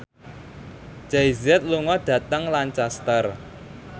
Jay Z lunga dhateng Lancaster